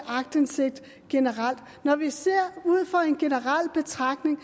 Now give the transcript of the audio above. aktindsigt generelt når vi ser det ud fra en generel betragtning